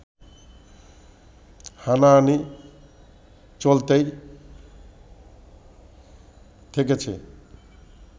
হানাহানি চলতেই থেকেছে